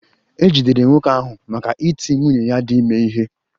E jidere nwoke ahụ maka iti nwunye ya dị ime ihe